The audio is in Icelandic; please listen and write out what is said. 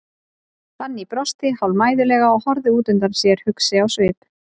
Fanný brosti hálfmæðulega og horfði út undan sér, hugsi á svip.